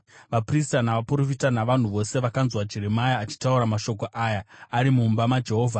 Vaprista navaprofita navanhu vose vakanzwa Jeremia achitaura mashoko aya ari mumba maJehovha.